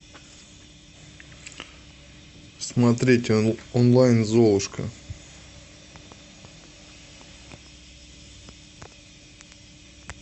смотреть онлайн золушка